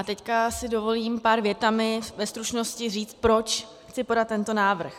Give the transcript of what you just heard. A teď si dovolím pár větami ve stručnosti říct, proč chci podat tento návrh.